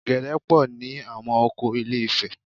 Ọ̀gẹ̀dẹ̀ pọ̀ ní àwọn oko Ilé-ifẹ̀